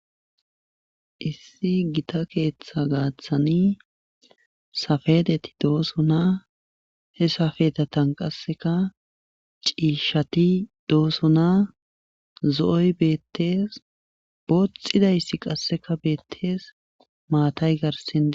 issi gita keeththa gaaththani safedeti dooso naa he safedetan qasseka ciishati dooso naa zo7oy beettees booxxidayssi qasseka beettees maatay garsindi